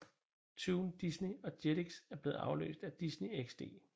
Toon Disney og Jetix er blevet afløst af Disney XD